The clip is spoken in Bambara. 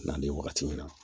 N'an bɛ wagati min na